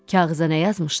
Kağıza nə yazmışdı?